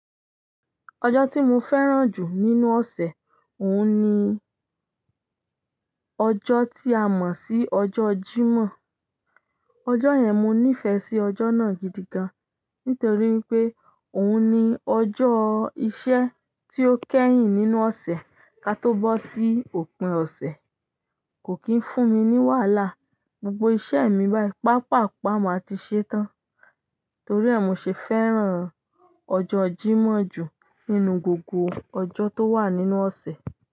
Ọjọ́ tí mo fẹ́ràn jù nínú ọsẹ, oun ni ọjọ́ tí a mọ sí ọjọ́ jímọ̀. Ọjọ́ yẹn, mo nifẹ sí ọjọ́ náà gidigan nítorí pé oun ni ọjọ́ iṣẹ́ tí o kẹhin nínú ọsẹ ka tó bọ sí òpin ọsẹ. Kò kí n fún mi ní wàhálà, gbogbo iṣẹ́ mi bayi papa pa ma ti ṣetan. Torí ẹ, mo ṣe fẹ́ran ọjọ́ jímọ̀ jù nínú gbogbo ọjọ́ tó wà nínú ọ̀sẹ̀.